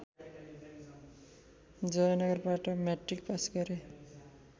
जयनगरबाट matric pass गरे